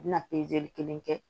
U bɛna kelen kɛ